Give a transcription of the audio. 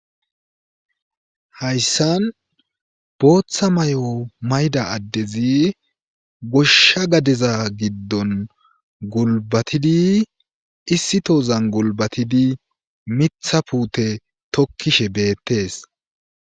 Hayssan booththa mayo mayida addezi goshsha gadeza giddon gulbatidi issi tozan golbatidi mitha puute tokkishe beettees.